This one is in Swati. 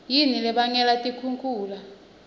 yini lebangela tikhukhula